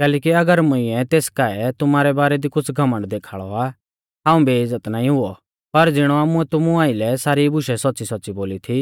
कैलैकि अगर मुंइऐ तेस काऐ तुमारै बारै दी कुछ़ घमण्ड देखाल़ौ आ हाऊं बेइज़्ज़त नाईं हुऔ पर ज़िणौ आमुऐ तुमु आइलै सारी बुशै सौच़्च़ीसौच़्च़ी बोली थी